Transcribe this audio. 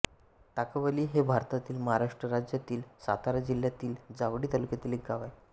ताकवली हे भारतातील महाराष्ट्र राज्यातील सातारा जिल्ह्यातील जावळी तालुक्यातील एक गाव आहे